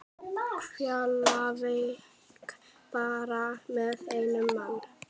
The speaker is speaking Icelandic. Keflavík bara með einn mann?